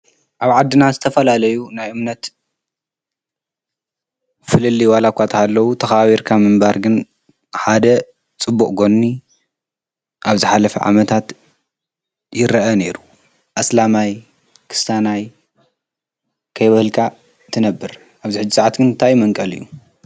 ኣብ ዓድና ዝተፈላለዩ ናይ እምነት ፍልፍል ዋላ እኳ እንተሃለዉ ተከባቢርካ ናይ ምንባር ግን ሓደ ፅቡቅ ጎኒ አብ ዝሓለፈ ዓመታት ይረአ ነይሩ፡፡ ኣስላማይ ከስታናይ ከይበልካ ትነብር፡፡ ኣብዚ ሕዚ ሰዓት ግን እንታይ እዩ መንቀሊኡ?